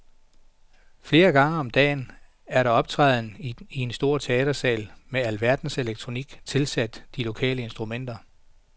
Flere gange om dagen er der optræden i en stor teatersal med alverdens elektronik tilsat de lokale instrumenter.